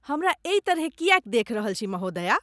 हमरा एहि तरहेँ किएक देखि रहल छी महोदया?